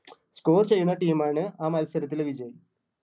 score ചെയ്യുന്ന team ആണ് ആ മത്സരത്തില് വിജയം.